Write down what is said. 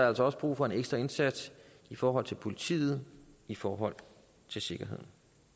altså også brug for en ekstra indsats i forhold til politiet i forhold til sikkerheden